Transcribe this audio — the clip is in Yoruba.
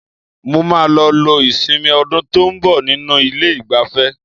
Mo máa lọ lo ìsinmi ọdún tó ń bọ̀ nínú ilé-ìgbafẹ́.